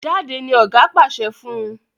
Jáde! ní oga pàṣẹ fún.